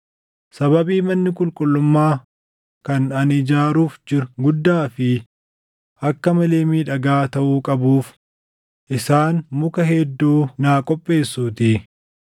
sababii manni qulqullummaa kan ani ijaaruuf jiru guddaa fi akka malee miidhagaa taʼuu qabuuf isaan muka hedduu naa qopheessuutii.